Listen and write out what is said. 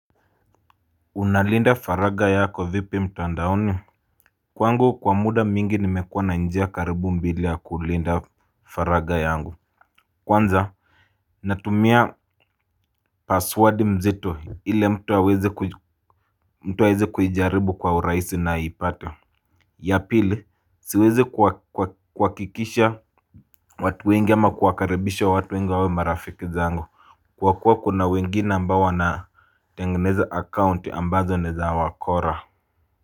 Unalinda faraga yako vipi mtandaoni. Kwangu kwa muda mingi nimekuwa na njia karibu mbili ya kulinda faraga yangu. Kwanza natumia password mzito hile mtu awezi kuijaribu kwa uraisi na ipata. Ya pili siwezi kuwakikisha watu wengi ama kuwakaribisha watu wengi wawe marafiki zangu. Kwa kuwa kuna wengine ambao wana tengeneza account ambazo naeza wakora.